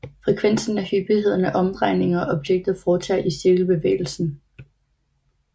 Frekvensen er hyppigheden af omdrejninger objektet foretager i cirkelbevægelsen